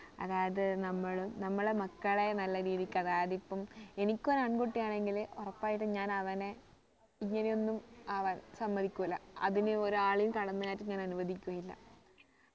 അതായത് നമ്മളും നമ്മളെ മക്കളെ നമ്മൾ നല്ല രീതിക്ക് അതായത് ഇപ്പം എനിക്ക് ഒരു ആൺകുട്ടി ആണെങ്കില് ഉറപ്പായിട്ടും ഞാൻ അവനെ ഇങ്ങനെ ഒന്നും ആവാൻ സമ്മതിക്കൂല അതിന് ഒരാളെയും കടന്ന് കയറ്റം ഞാൻ അനുവദിക്കുകയില്ല